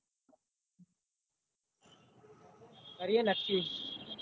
કરીએ નક્કી